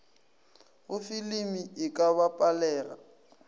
go filimi e ka bapalega